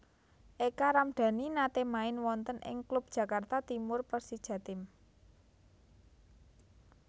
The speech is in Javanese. Eka Ramdani nate main wonten ing klub Jakarta Timur Persijatim